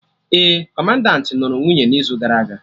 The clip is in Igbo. Ee, Kọmandanti nụrụ nwunye n'izu gara aga